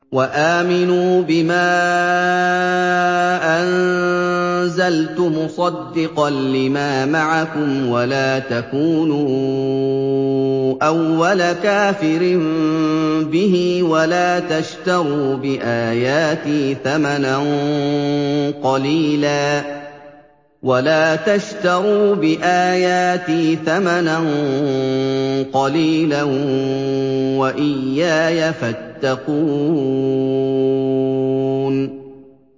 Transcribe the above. وَآمِنُوا بِمَا أَنزَلْتُ مُصَدِّقًا لِّمَا مَعَكُمْ وَلَا تَكُونُوا أَوَّلَ كَافِرٍ بِهِ ۖ وَلَا تَشْتَرُوا بِآيَاتِي ثَمَنًا قَلِيلًا وَإِيَّايَ فَاتَّقُونِ